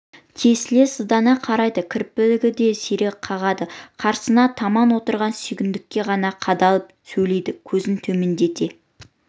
тесіле сыздана қарайды кірпігін де сирек қағады қарсысына таман отырған сүйіндікке ғана қадалып сөйлейді көзін төмендете